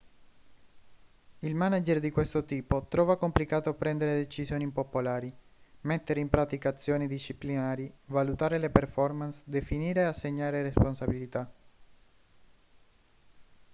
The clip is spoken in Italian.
il manager di questo tipo trova complicato prendere decisioni impopolari mettere in pratica azioni disciplinari valutare le performance definire e assegnare responsabilità